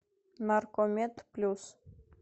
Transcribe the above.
наркомед плюс